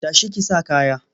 Ta shi ki sa kaya!